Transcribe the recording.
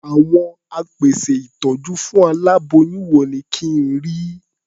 Àwọn apèsè ìtọ́jú fún aláboyún wo ni kí n rí?